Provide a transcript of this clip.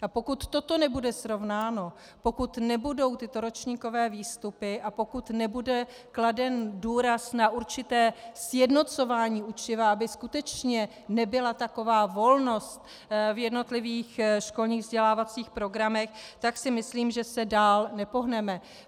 A pokud toto nebude srovnáno, pokud nebudou tyto ročníkové výstupy a pokud nebude kladen důraz na určité sjednocování učiva, aby skutečně nebyla taková volnost v jednotlivých školních vzdělávacích programech, tak si myslím, že se dál nepohneme.